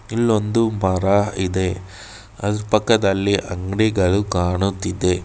ಇಲ್ಲೊಂದು ಮರ ಇದೆ ಅದ್ರ ಪಕ್ಕದಲ್ಲಿ ಅಂಗಡಿಗಳು ಕಾಣುತ್ತಿದೆ.